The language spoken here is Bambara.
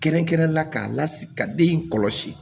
Kɛrɛnkɛrɛnnen la k'a lasigi ka den in kɔlɔsi